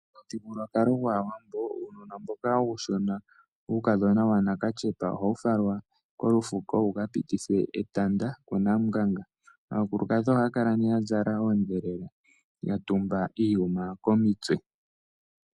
Momuthigululwakalo gwAawambo uunongmbono uushona uukadhona wanakatyepa ohawu falwa kolufuko wukapitithelwe etanda kunamunganaga. Aakulukadhi ohaya kala yazala oondhelela yatumba iiyuma komitse.